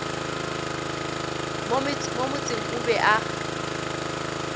mo motseng o be a